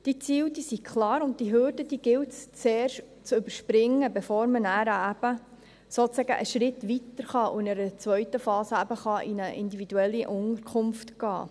Diese Ziele, die sind klar, und diese Hürde gilt es zuerst zu überspringen, bevor man nachher eben sozusagen einen Schritt weitergehen und in einer zweiten Phase in eine individuelle Unterkunft gehen kann.